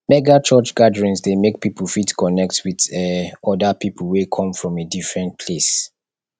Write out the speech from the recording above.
mega church gatherings de make pipo fit connect with um other pipo wey come from a different place